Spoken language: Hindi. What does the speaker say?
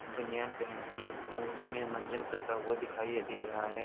बनियान पेहन के मौज में मंजन करता हुआ दिखाई दे रहा है।